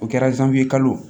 O kɛra kalo